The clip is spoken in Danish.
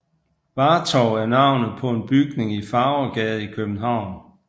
Vartov er navnet på en bygning i Farvergade i København